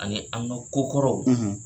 Ani an' ŋa ko kɔrɔw